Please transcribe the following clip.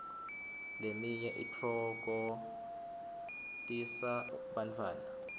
leminye itfoktisa bantfwana